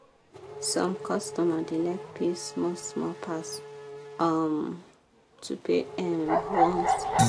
some customer da like pay small small pass um to pay um once